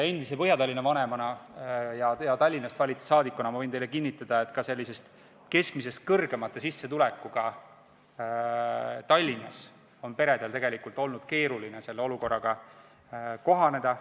Endise Põhja-Tallinna vanemana ja Tallinnast valitud rahvasaadikuna võin teile kinnitada, et ka keskmisest suuremate sissetulekutega Tallinnas on peredel tegelikult olnud keeruline selle olukorraga kohaneda.